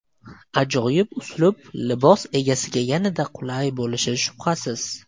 Ajoyib uslub libos egasiga yanada qulay bo‘lishi shubhasiz.